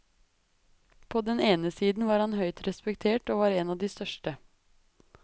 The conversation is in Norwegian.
På den ene side var han høyt respektert og var en av de største.